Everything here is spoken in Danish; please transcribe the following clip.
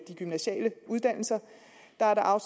bare